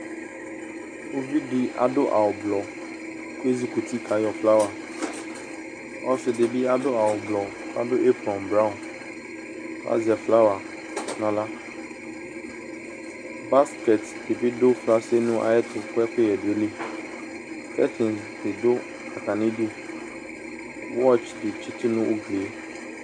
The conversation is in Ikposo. Uvi adʋ awʋblɔ kʋ ezikuti kayɔ flawa Ɔsɩ dɩ bɩ adʋ awʋblɔ kʋ adʋ epɔ braɔn kʋ azɛ flawa nʋ aɣla Baskɛt dɩ bɩ dʋ fasɩn nʋ ayɛtʋ kʋ ɛkʋyɛ dʋ ayili Kɛtsɩn dɩ dʋ atamɩdu Wɔts dɩ tsɩtʋ nʋ ugli yɛ